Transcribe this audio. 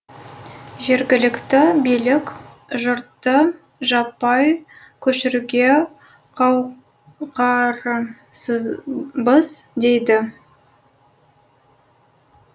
жергілікті билік жұртты жаппай көшіруге қауқарынсызбыз дейді